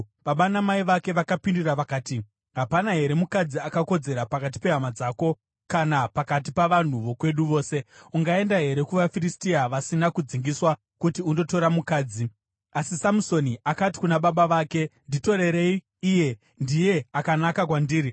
Baba namai vake vakapindura vakati, “Hapana here mukadzi akakodzera pakati pehama dzako kana pakati pavanhu vokwedu vose? Ungaenda here kuvaFiristia vasina kudzingiswa kuti undotora mukadzi?” Asi Samusoni akati kuna baba vake, “Nditorerei iye. Ndiye akanaka kwandiri.”